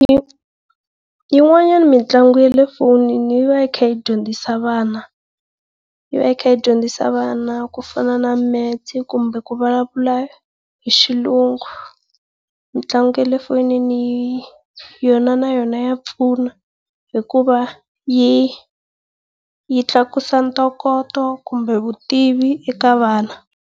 Yin'wanyana mitlangu ya le fonini yi va yi kha yi dyondzisa vana yi va yi kha yi dyondzisa vana ku fana na metsi kumbe ku vulavula hi xilungu. Mitlangu ya le fonini yona na yona ya pfuna hikuva yi yi tlakusa ntokoto kumbe vutivi eka vana.